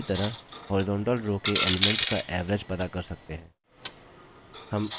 उसी तरह horizontal row के elements का average पता कर सकते हैं